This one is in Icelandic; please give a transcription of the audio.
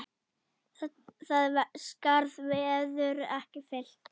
Það skarð verður ekki fyllt.